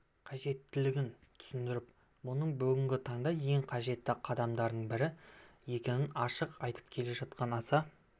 қажеттігін түсіндіріп мұның бүгінгі таңда ең қажетті қадамдардың бірі екенін ашық айтып келе жатқан аса